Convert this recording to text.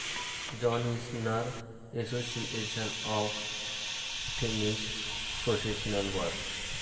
John Isner Association of Tennis Professionals वर.